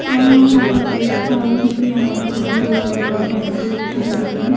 मैं यहां पर देख पा रही हूं कि यहां पर मुझे एक पेट्रोल टैंकी दिखाई दे रही है।